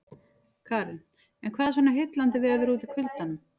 Karen: En hvað er svona heillandi við að vera úti í kuldanum?